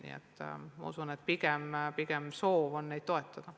Nii et ma usun, et pigem on soov toetada.